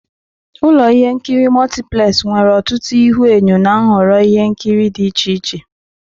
Ụlọ ihe nkiri Multiplex nwere ọtụtụ ihuenyo na nhọrọ ihe nkiri dị iche iche.